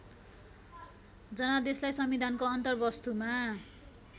जनादेशलाई संविधानको अन्तर्वस्तुमा